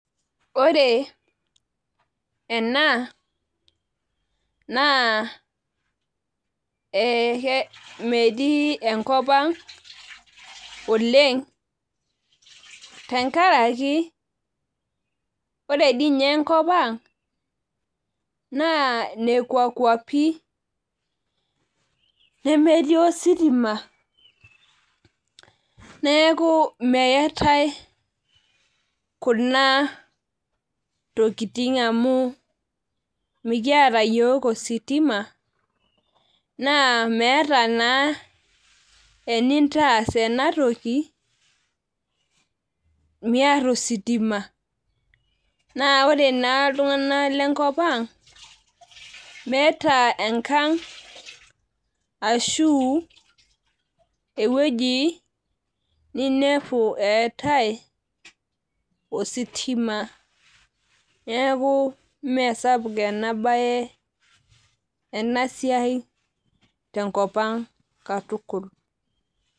Ore ena naa metii enkopang oleng tenkaraki ore diininye enkopang naa nekwa kwapi nemetii ositima neeku meetae kuna tokitin amu mikiata yiok ositima naa meeta naa enintaas enatoki miata ositima , naa ore naa iltung'anak lenkopang' meeta enkang ashu eweuji ninepu eetae ositima , neeku mmee sapuk enabae , enasiai tenkopang' katukul.